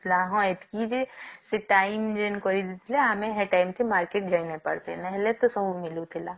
ହଁ ଏତକି ଯେ ସେ time ଯେନ କରିକି ଦେଇଥିଲେ ଆମେ ସେ time କି market ଯାଇ ନ ପାରୁଛେ ହେଲେ ତ ସବୁମିଳୁଥିଲା